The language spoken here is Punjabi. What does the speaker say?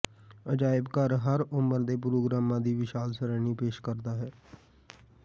ਅਜਾਇਬ ਘਰ ਹਰ ਉਮਰ ਦੇ ਪ੍ਰੋਗਰਾਮਾਂ ਦੀ ਵਿਸ਼ਾਲ ਸ਼੍ਰੇਣੀ ਪੇਸ਼ ਕਰਦਾ ਹੈ